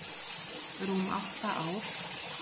rúm átta ár.